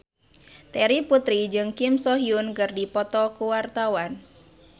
Terry Putri jeung Kim So Hyun keur dipoto ku wartawan